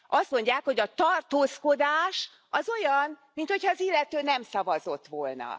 Azt mondják, hogy a tartózkodás az olyan, mint hogyha az illető nem szavazott volna.